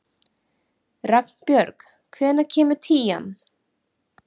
Ragnbjörg, hvenær kemur tían?